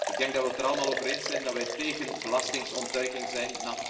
Ik denk dat we het er allemaal over eens zijn dat we tegen belastingontduiking zijn.